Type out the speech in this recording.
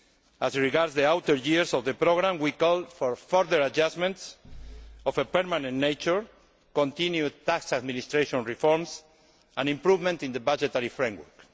As regards the later years of the programme, we call for further adjustments of a permanent nature, continued tax administration reforms and an improvement in the budgetary framework.